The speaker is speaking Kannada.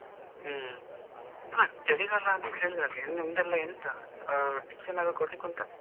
ಹ್ಮ್. ಹಾ ಚಳಿಗಾಲ ಅಂತ ಹೇಳಿದ್ರೆ ಅದ್ ಏನ್ ನಿಮ್ದೇಲ್ಲ ಎಂತ, ಆ tips ಏನಾದ್ರು ಕೊಡ್ಲಿಕ್ಕೆ ಉಂಟಾ?